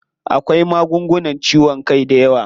Akwai magungunan ciwon kai dayawa.